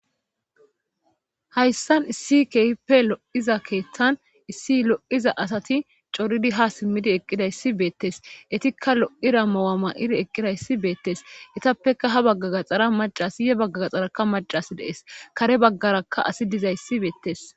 hayssan issi keehippe lo7iza keeththan issi lo7iza asati coridi ha simmidi eqqida issi beettes etikka lo7ira mawama7iri eqqida issi beettes itappeka ha bagga gaxara macas ye bagga gaxaraka macas dees kare baggarakka asi diza ssi beettes